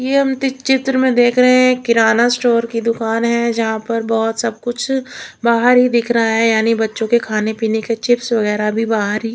ये हम जिस चित्र में देख रहे है यह एक किराना स्टोर की दुकान है जहा पर बहुत सबकुछ बाहर ही दिख रहा है यानि की बच्चों के खाने पिने की चिप्स वगेरा भी बहर ही--